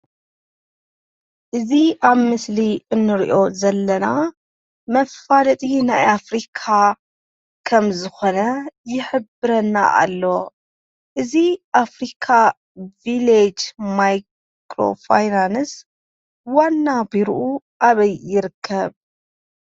እዚ ኣብ ምስሊ እንሪኦ ዘለና መፋለጢ ኣብ ኣፍሪካ ከም ዝኾነ ይሕብረልና ኣሎ። እዚ ኣፍሪካ ቪሌጅ ማይክሮፋይናንስ ዋና ቢሩኡ ኣበይ ይርከብ?